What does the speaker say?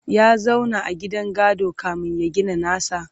ya zauna a gidan gado kamin ya gina nasa?